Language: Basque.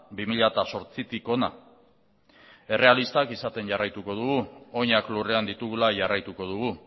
bi mila zortzitik hona errealistak izaten jarraituko dugu oinak lurrean ditugula jarraituko dugu